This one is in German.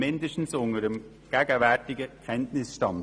Dies zumindest unter dem gegenwärtigen Kenntnisstand.